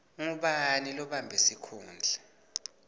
ngubani lobambe sikhundla